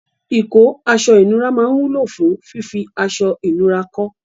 Ìkọ́ aṣọ-ìnura máa wúlò fún fífí aṣọ-ìnura kọ́.